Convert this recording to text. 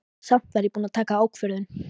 Samt var ég búin að taka ákvörðun.